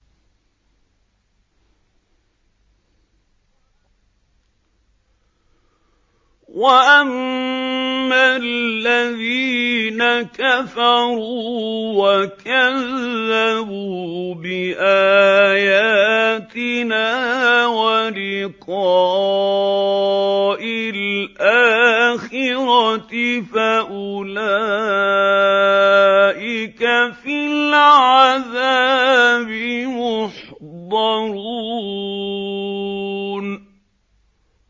وَأَمَّا الَّذِينَ كَفَرُوا وَكَذَّبُوا بِآيَاتِنَا وَلِقَاءِ الْآخِرَةِ فَأُولَٰئِكَ فِي الْعَذَابِ مُحْضَرُونَ